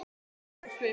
legur á svip.